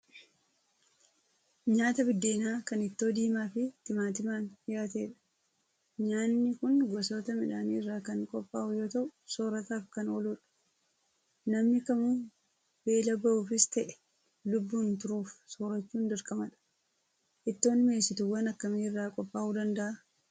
Nyaata biddeenaa kan ittoo diimaa fi timaatimaan dhiyaatedha. Nyaanni kun gosoota midhaanii irraa kan qophaa'u yoo ta'u, soorataaf kan ooludha. Namni kamuu beela ba'uufis ta'e, lubbuun turuuf soorachuun dirqamadha. Ittoon mi'eessituuwwan akkamii irraa qophaa'uu danda'a?